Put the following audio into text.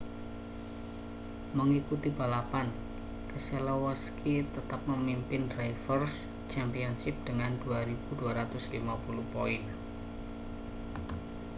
mengikuti balapan keselowski tetap memimpin drivers' championship dengan 2.250 poin